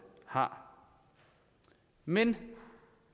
har men